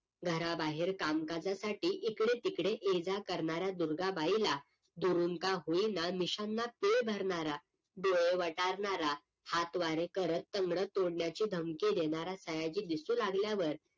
घरा बाहेर कामकाजासाठी इकडे तिकडे ये जा करणाऱ्या दुर्गाबाईला दुरून का होईना मिश्याना पीळ भरणारा डोळे वटारणारा हात वारे करत तंगड तोडण्याची धमकी देणारा सयाजी दिसू लागल्यावर